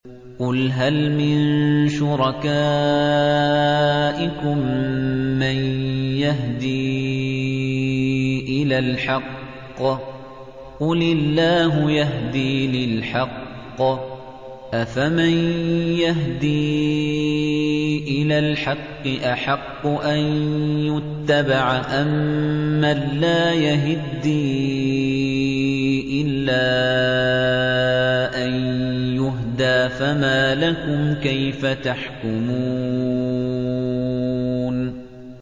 قُلْ هَلْ مِن شُرَكَائِكُم مَّن يَهْدِي إِلَى الْحَقِّ ۚ قُلِ اللَّهُ يَهْدِي لِلْحَقِّ ۗ أَفَمَن يَهْدِي إِلَى الْحَقِّ أَحَقُّ أَن يُتَّبَعَ أَمَّن لَّا يَهِدِّي إِلَّا أَن يُهْدَىٰ ۖ فَمَا لَكُمْ كَيْفَ تَحْكُمُونَ